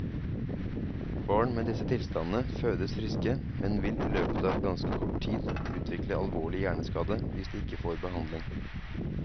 Barn med disse tilstandene fødes friske, men vil i løpet av ganske kort tid utvikle alvorlig hjerneskade hvis de ikke får behandling.